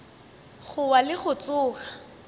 go wa le go tsoga